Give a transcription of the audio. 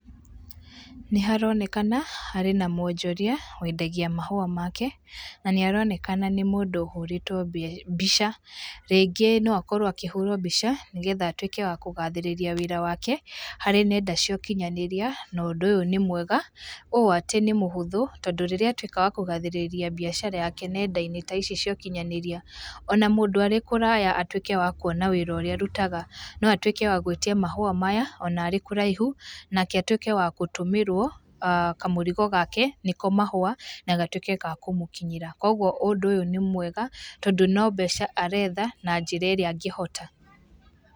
Nĩ haronekana harĩ na mwonjoria wendagia mahũa make, na nĩ aronekana nĩ mũndũ ũhũrĩtwo mbica, rĩngĩ no akorwo akĩhũrwo mbica nĩgetha atuĩke wa kũgathĩrĩrĩa wĩra wake, harĩ nenda cia ũkinyanĩria, na ũndũ ũyũ nĩ mwega ũũ atĩ nĩ mũhũthũ, tondũ rĩrĩa atuĩka wakũgathĩrĩria mbiacara yake nenda-inĩ ta ici cia ũkinyanĩria, ona mũndũ arĩ kũraya atuĩke wa kuona wĩra ũrĩa arutaga, no atuĩke wa gũĩtia mahũa maya ona arĩ kũraihu, nake atuĩke wa gũtũmĩrwo kamũrigo gake nĩko mahũa, na gatuĩke ga kũmũkinyĩra. Koguo ũdũ ũyũ nĩ mwega, tondũ no mbeca aretha na njĩra ĩrĩa angĩhota.